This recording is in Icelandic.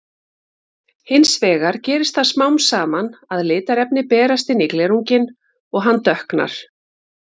Hins vegar gerist það smám saman að litarefni berast inn í glerunginn og hann dökknar.